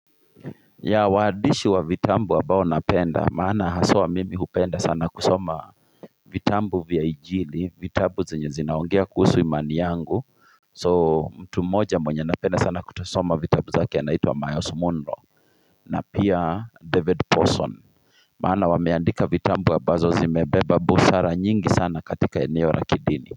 Ya waandishi wa vitabu ambao napenda maana haswa mimi hupenda sana kusoma vitabu vya injili vitabu zenye zinaongea kuhusu imani yangu. So mtu moja mwenye napenda sana kutosoma vitabu zake anaitwa myles munroe na pia david pawson maana wameandika vitabu ambazo zimebeba busara nyingi sana katika eneo la kidini kwa hivyo.